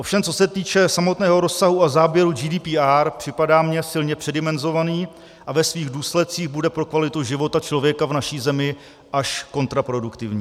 Ovšem co se týče samotného rozsahu a záběru GDPR, připadá mně silně předimenzovaný a ve svých důsledcích bude pro kvalitu života člověka v naší zemi až kontraproduktivní.